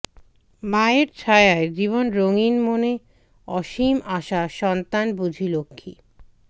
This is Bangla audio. মায়ের ছায়ায় জীবন রঙিন মনে অসীম আশা সন্তান বুঝি লক্ষ্মী